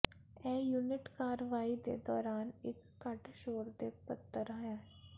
ਇਹ ਯੂਨਿਟ ਕਾਰਵਾਈ ਦੇ ਦੌਰਾਨ ਇੱਕ ਘੱਟ ਸ਼ੋਰ ਦੇ ਪੱਧਰ ਹੈ